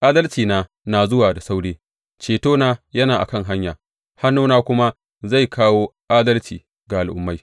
Adalcina na zuwa da sauri, cetona yana a kan hanya, hannuna kuma zai kawo adalci ga al’ummai.